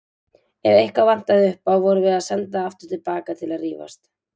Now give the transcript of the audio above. Ef eitthvað vantaði upp á vorum við sendar aftur til baka til að rífast.